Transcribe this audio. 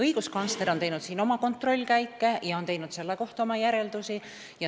Õiguskantsler on teinud kontrollkäike ja selle kohta oma järeldusi.